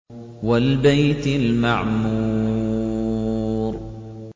وَالْبَيْتِ الْمَعْمُورِ